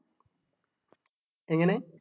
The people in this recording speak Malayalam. ഇങ്ങനേ